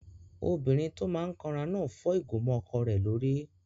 Obìnrin tó máa n kanra náà fọ́ ìgò mọ́ ọkọ rẹ̀ lórí